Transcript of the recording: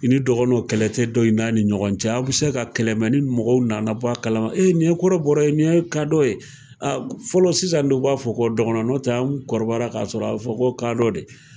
I ni dɔgɔnɔn, kɛlɛ tɛ don i n'a ni ɲɔgɔn cɛ ,a bɛ se ka kɛlɛ mɛ ni mɔgɔw nana bɔ kalama ee nin ye kɔrɔbɔra, nin ye kadɔ ye, fɔlɔ sisan dɔw b'a fɔ ko dɔkɔrɔ nɛrɛ, fɔlɔ, anw kɔrɔbayalen k'a sɔrɔ a bɛ fɔ ko kadɔ de.